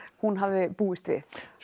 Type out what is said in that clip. hún hafði búist við